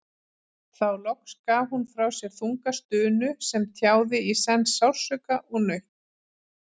Þá loks gaf hún frá sér þunga stunu sem tjáði í senn sársauka og nautn.